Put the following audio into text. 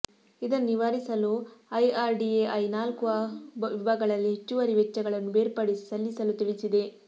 ಇದನ್ನು ನಿವಾರಿಸಲು ಐಆರ್ಡಿಎಐ ನಾಲ್ಕು ವಿಭಾಗಗಳಲ್ಲಿ ಹೆಚ್ಚುವರಿ ವೆಚ್ಚಗಳನ್ನು ಬೇರ್ಪಡಿಸಿ ಸಲ್ಲಿಸಲು ತಿಳಿಸಿದೆ